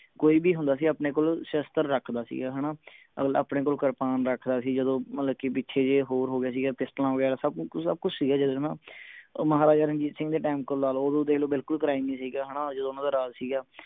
ਕੋਈ ਵੀ ਹੁੰਦਾ ਸੀ ਗਾ ਆਪਣੇ ਕੋਲ ਸ਼ਸਤਰ ਰੱਖਦਾ ਸੀ ਹਣਾ ਅਗਲਾ ਆਪਣੇ ਕੋਲ ਕਿਰਪਾਨ ਰੱਖਦਾ ਸੀ ਮਤਲਬ ਕਿ ਪਿਛੇ ਜਿਹੇ ਹੋਰ ਹੋ ਗਿਆ ਸੀ ਗਾ ਪਿਸਟਲਾਂ ਵਗੈਰਾ ਸਬ ਕੁਛ ਸਬਕੁਛ ਸੀ ਗਾ ਜਦੋਂ ਹਣਾ ਮਹਾਰਾਜ ਰਣਜੀਤ ਸਿੰਘ ਦੇ ਟੈਮ ਕੋਲ ਲੈ ਲਓ ਓਦੋਂ ਦੇਖ ਲੋ ਬਿਲਕੁਲ crime ਨਹੀਂ ਸੀ ਗਾ ਹਣਾ ਜਦੋਂ ਓਹਨਾ ਦਾ ਰਾਜ ਸੀ ਗਾ